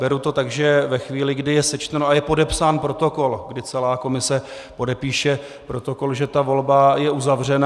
Beru to tak, že ve chvíli, kdy je sečteno a je podepsán protokol, kdy celá komise podepíše protokol, že ta volba je uzavřena.